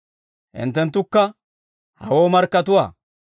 «Hinttenttukka hawoo markkatuwaa.